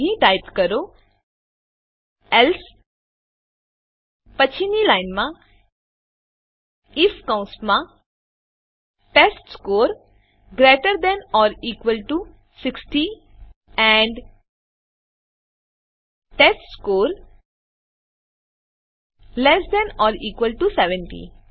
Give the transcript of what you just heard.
તો અહીં ટાઈપ કરો એલ્સે પછીની લાઈનમાં આઇએફ કૌંસમાં test score greater than or equal to ૬૦ and test score less than or equal to ૭૦